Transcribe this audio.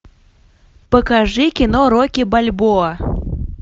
покажи кино рокки бальбоа